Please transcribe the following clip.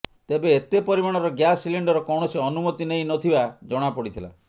ତେବେ ଏତେ ପରିମାଣର ଗ୍ୟାସ ସିଲିଣ୍ଡର କୌଣସି ଅନୁମତି ନେଇ ନଥିବା ଜଣା ପଡିଥିଲା